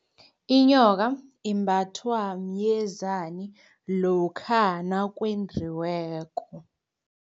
Inyoka imbathwa myezani lokha nakwendiweko.